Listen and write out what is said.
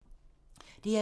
DR2